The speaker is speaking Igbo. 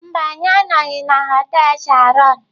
Mba, anyị anọghị na họtel Sheraton.